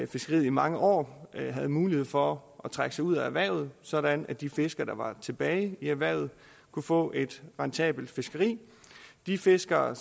fiskeriet i mange år have mulighed for at trække sig ud af erhvervet sådan at de fiskere der var tilbage i erhvervet kunne få et rentabelt fiskeri de fiskere